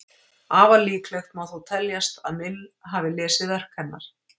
Afar líklegt má þó teljast að Mill hafi lesið verk hennar.